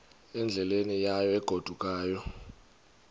endleleni yayo egodukayo